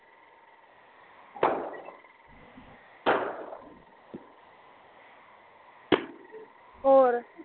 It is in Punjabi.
ਹੋਰ